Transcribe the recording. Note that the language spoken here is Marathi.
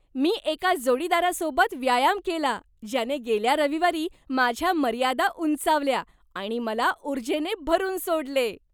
मी एका जोडीदारासोबत व्यायाम केला ज्याने गेल्या रविवारी माझ्या मर्यादा उंचावल्या आणि मला उर्जेने भरून सोडले.